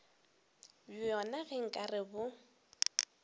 bjona ge nka re bo